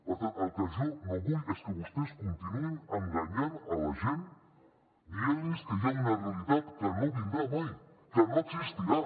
per tant el que jo no vull és que vostès continuïn enganyant la gent dient los que hi ha una realitat que no vindrà mai que no existirà